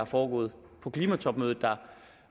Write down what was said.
foregået på klimatopmødet der